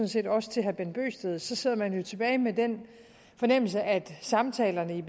set også til herre bent bøgsted så sidder man jo tilbage med den fornemmelse at samtalerne i